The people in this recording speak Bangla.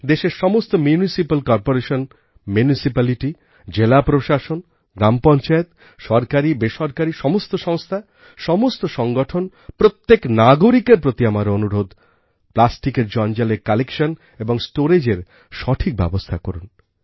দেশের সমস্ত মিউনিসিপাল কর্পোরেশন Municipalityজেলা প্রশাসন গ্রামপঞ্চায়েত সরকারিবেসরকারী সমস্ত সংস্থা সমস্ত সংগঠন প্রত্যেক নাগরিকের প্রতি আমার অনুরোধ প্লাস্টিক জঞ্জালের কালেকশন এবং storageএর সঠিকব্যবস্থা করুন